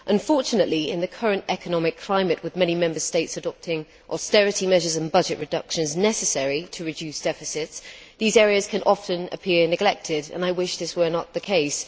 Unfortunately, in the current economic climate, with many Member States adopting austerity measures and budget reductions necessary to reduce deficits, these areas can often appear neglected and I wish this were not the case.